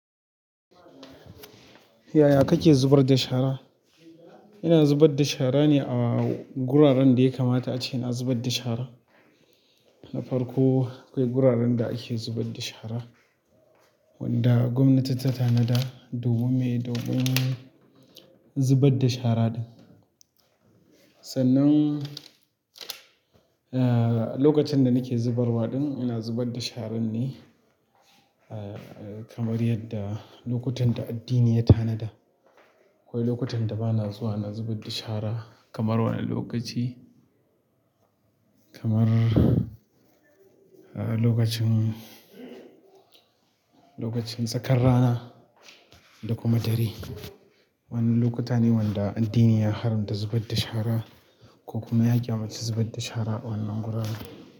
Yaya kake zubar da shara? Ina zubar da shara ne a guraren da ya kamata ace na zubad da shara, na farko, akwai guraren da ake zubar da shara wanda gwamnati ta tanada domin mi domin zubar da shara ɗin, sannan, ah, lokacin da nike zubarwa ɗin, ina zubad da sharan ne ahh kamar yadda lokutan da addini ya tanada, akwai lokutan da ba na zuwa ina zubad da shara kamar wani lokaci, kamar lokacin, lokacin tsakar rana da kuma dare, wannan lokuta ne wanda addini ya haramta zubad da shara, ko kuma ya ƙyamance zubad da shara a wannan gurin.